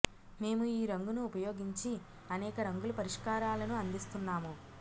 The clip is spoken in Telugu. మేము ఈ రంగును ఉపయోగించి అనేక రంగుల పరిష్కారాలను అందిస్తున్నాము